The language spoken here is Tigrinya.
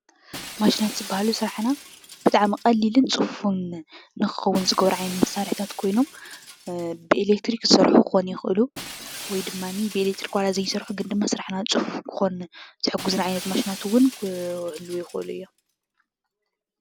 ማሽናት ዝበሃሉ ስራሕና ብጣዕሚ ቀሊልን ፅፍፉን ንክኸዉን ዝገብሩ ዓይነታት መሰርሕታት ኮይኖም ብኢሌክትሪክ ዝሰርሑ ክኾኑ ይክእሉ ወይ ድማኒ ብኢሌክትሪክ ዋላ ዘይሰርሑ ግን ድማ ስርሕና ፅፉፍ ክኾን ዝሕግዙ ማሽናት እዉን ክህልዉ ይክእሉ እዮም።